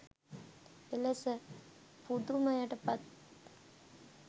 එලෙස පුදුමයට පත්